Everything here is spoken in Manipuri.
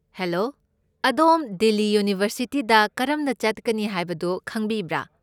ꯍꯦꯂꯣ, ꯑꯗꯣꯝ ꯗꯤꯜꯂꯤ ꯌꯨꯅꯤꯚꯔꯁꯤꯇꯤꯗ ꯀꯔꯝꯅ ꯆꯠꯀꯅꯤ ꯍꯥꯏꯕꯗꯨ ꯈꯪꯕꯤꯕ꯭ꯔꯥ?